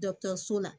so la